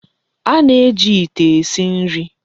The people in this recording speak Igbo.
A na-eji ite esi nri.